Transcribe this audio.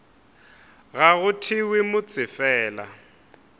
ga go thewe motse fela